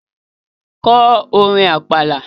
Ko orin Àpàlà!